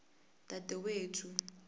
dadewethu